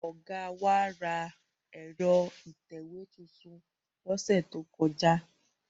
Ọ̀gá wa ra ẹ̀rọ ìtẹ̀wé tuntun lọ́sẹ̀ tó kọjá.